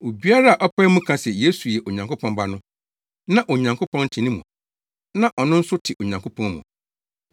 Obiara a ɔpae mu ka se Yesu yɛ Onyankopɔn Ba no, na Onyankopɔn te ne mu na ɔno nso te Onyankopɔn mu.